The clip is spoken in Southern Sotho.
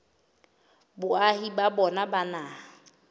boahi ba bona ba naha